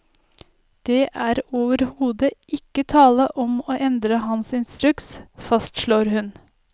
Det er overhode ikke tale om å endre hans instruks, fastslår hun.